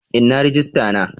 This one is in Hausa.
Inna rijista na?